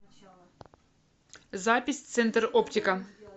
запись центр оптика